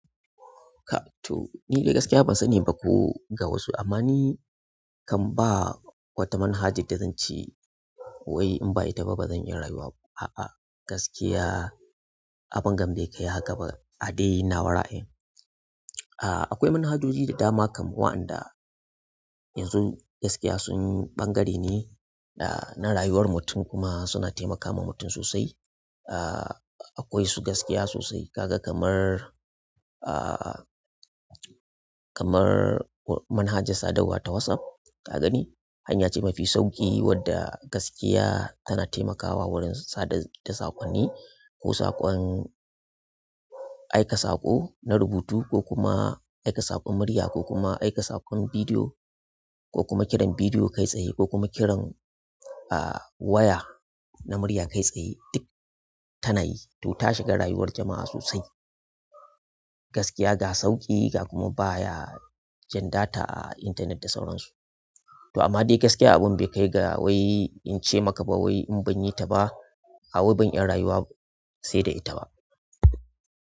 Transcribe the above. Ka to ni dai gaskiya ban sani ba ko ga wasu. Amma ni kan ba wata manhaja da zan ce wai in ba ita ba bazan iya rayuwa ba. A'a gaskiya abungan be kai hakaba a dai nawa ra'ayin ah akwai manhajoji da dama kaman wa'anda yanzu gaskiya sun yi ɓangare ne na rayuwar mutum kuma suna taimakama mutum sosai. Ah akwai su gaskiya sosai kaga kamar ah kamar manhajar sadarwa ta WhatsApp ka gani hanya ce mafi sauƙi wadda gaskiya tana taimakawa wurin sada da saƙonni ko saƙon aika saƙo na rubutu ko kuma aika saƙon murya ko kuma aika saƙon bidiyo ko kuma kiran bidiyo kai tsaye ko kuma kiran ah waya na murya kai tsaye duk tana yi. To ta shiga rayuwar jama'a sosai gaskiya ga sauƙi ga kuma baya jan data a intanet da sauran su. To amma dai gaskiya abun bekai ga wai in ce maka ba wai in banyi ta ba hawai ban iya rayuwa sai da ita ba.